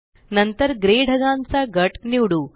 नंतर ग्रे ढगांचा गट निवडू